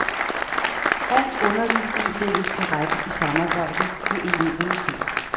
Al undervisning lægges til rette i samarbejde med eleverne selv.